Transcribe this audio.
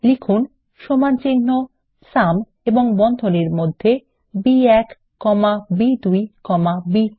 লিখুন সমানচিহ্ন সুম এবং বন্ধনীর মধ্যে বি1 কমা বি2 কমা বি3